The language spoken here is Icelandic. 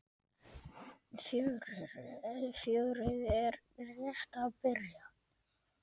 Fjörið er rétt að byrja.